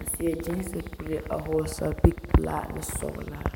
a seɛ gyiisi kuree a hɔɔle sapigi pelaa k'o e sɔgelaa.